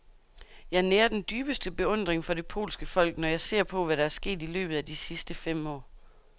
Jeg nærer den dybeste beundring for det polske folk, når jeg ser på, hvad der er sket i løbet af de sidste fem år.